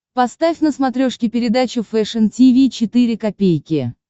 поставь на смотрешке передачу фэшн ти ви четыре ка